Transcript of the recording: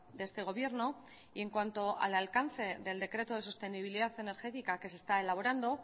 de este gobierno y en cuanto al alcance del decreto de sostenibilidad energética que se está elaborando